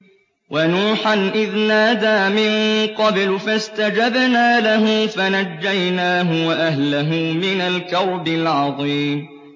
وَنُوحًا إِذْ نَادَىٰ مِن قَبْلُ فَاسْتَجَبْنَا لَهُ فَنَجَّيْنَاهُ وَأَهْلَهُ مِنَ الْكَرْبِ الْعَظِيمِ